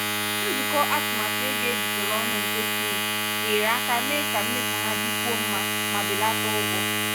nzukọ atụmatụ ego ejikọrọ ọnụ nke smith nyere aka mee ka mmefu ha dịkwuo mma ma belata ụgwọ.